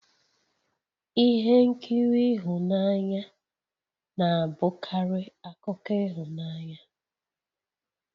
Ihe nkiri ihunanya na-abụkarị akụkọ ịhụnanya